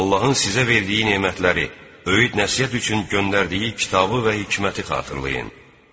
Allahın sizə verdiyi nemətləri, öyüd-nəsihət üçün göndərdiyi kitabı və hikməti xatırlayın.